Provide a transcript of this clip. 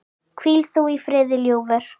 Hvíl þú í friði, ljúfur.